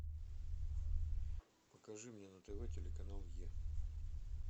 покажи мне на тв телеканал е